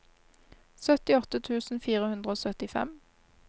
syttiåtte tusen fire hundre og syttifem